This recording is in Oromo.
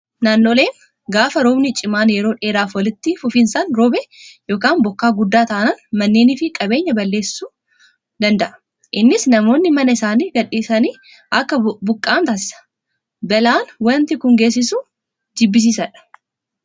Naannoleen gaafa roobni cimaan yeroo dheeraaf walitti fufiinsaan roobe yookaan bokkaa guddaa taanaan manneenii fi qabeenya baay'ee balleessuu danda'a. Innis namoonni mana isaanii gadhiisanii akka buqqa'an taasisa. Balaan wanti kun geessisu jibbisiisaadha.